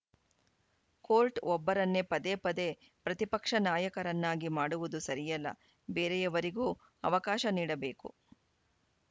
court ಒಬ್ಬರನ್ನೇ ಪದೇ ಪದೇ ಪ್ರತಿಪಕ್ಷ ನಾಯಕರನ್ನಾಗಿ ಮಾಡುವುದು ಸರಿಯಲ್ಲ ಬೇರೆಯವರಿಗೂ ಅವಕಾಶ ನೀಡಬೇಕು